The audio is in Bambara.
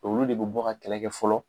Olu de bɛ bɔ ka kɛlɛ kɛ fɔlɔ.